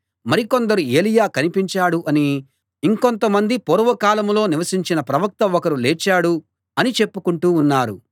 మరి కొందరు ఏలీయా కనిపించాడు అనీ ఇంకొంతమంది పూర్వకాలంలో నివసించిన ప్రవక్త ఒకరు లేచాడు అనీ చెప్పుకుంటూ ఉన్నారు